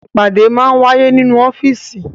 Ìpàdé máa ń wáyé nínú ọ́fíísì.